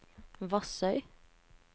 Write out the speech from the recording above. Vassøy